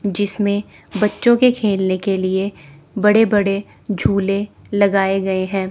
जिसमें बच्चों के खेलने के लिए बड़े बड़े झूले लगाए गए हैं।